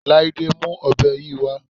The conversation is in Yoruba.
Láídé mú ọ̀bẹ yìí wá